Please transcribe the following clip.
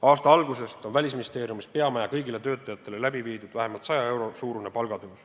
Aasta algusest on Välisministeeriumis peamaja kõigil töötajatel palka tõstetud vähemalt 100 euro võrra.